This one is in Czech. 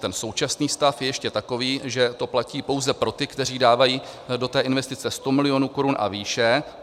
Ten současný stav je ještě takový, že to platí pouze pro ty, kteří dávají do té investice 100 milionů korun a výše.